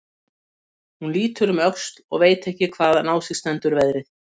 Hún lítur um öxl og veit ekki hvaðan á sig stendur veðrið.